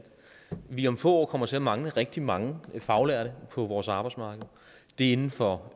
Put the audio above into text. vi om få år kommer til at mangle rigtig mange faglærte på vores arbejdsmarked det er inden for